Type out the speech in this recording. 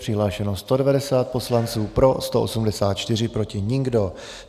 Přihlášeno 190 poslanců, pro 184, proti nikdo.